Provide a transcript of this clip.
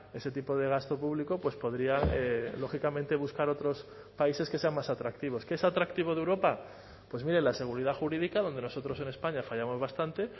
ese tipo de gasto público pues podría lógicamente buscar otros países que sean más atractivos qué es atractivo de europa pues mire la seguridad jurídica donde nosotros en españa fallamos bastante